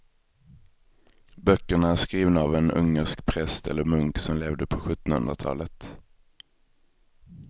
Böckerna är skrivna av en ungersk präst eller munk som levde på sjuttonhundratalet.